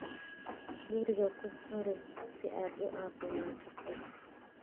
Guriga ku kari si aad u caafimaad qabtid.